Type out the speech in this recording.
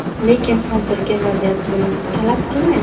Lekin hozirgi vaziyat buni talab qilmaydi.